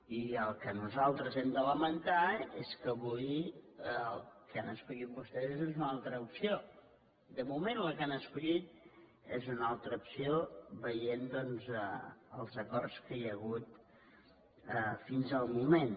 i el que nosaltres hem de lamentar és que avui el que han escollit vostès és una altra opció de moment la que han escollit és una altra opció veient doncs els acords que hi ha hagut fins al moment